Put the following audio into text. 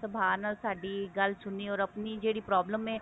ਸੁਭਾ ਨਾਲ ਸਾਡੀ ਗੱਲ ਸੁਣੀ or ਆਪਣੀ ਜਿਹੜੀ problem ਏ